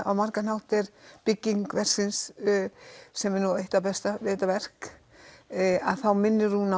á margan hátt er bygging verksins sem er eitt það besta við þetta verk að þá minnir hún á